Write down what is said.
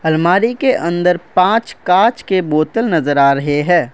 अलमारी के अंदर पांच कांच के बोतल नजर आ रहे हैं।